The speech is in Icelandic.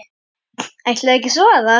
Ætlarðu ekki að svara?